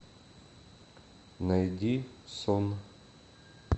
найди сон